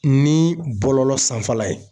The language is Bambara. Ni bɔlɔlɔ sanfɛla ye